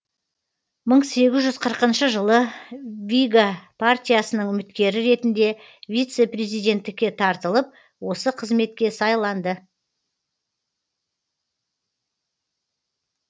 мың сегіз жүз қырықыншы жылы вига партиясының үміткері ретінде вице президенттікке тартылып осы қызметке сайланды